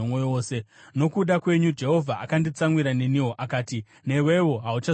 Nokuda kwenyu Jehovha akanditsamwira neniwo, akati, “Newewo hauchazoipindi.